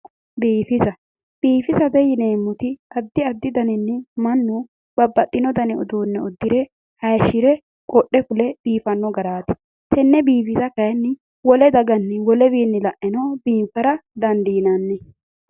Biifisa. biifisate yineemmoti addi addi daninni mannu babbaxino dani uduunne uddire haayiishire qodhe fule biifanno garaati. tenne biifisa kaayiinni wole daganni wolewiinni la'nenno biinfara dandiinanni.